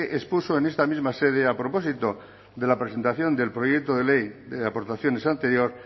expuso en esta misma sede a propósito de la presentación del proyecto de ley de aportaciones anterior